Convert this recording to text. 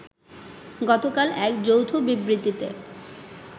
গতকাল এক যৌথ বিবৃতিতে